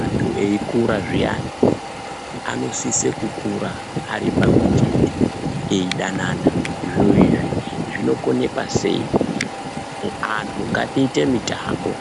Antu eikura zviyani anosise kukura ari pamwe chete eidanana. Zviro izvi zvinokonekwa sei? Anthu ngatiite mitambo,